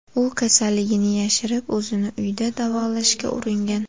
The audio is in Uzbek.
U kasalligini yashirib, o‘zini uyda davolashga uringan.